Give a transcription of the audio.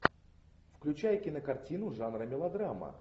включай кинокартину жанра мелодрама